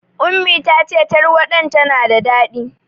Ummi ta ce tarwaɗa tana da daɗi.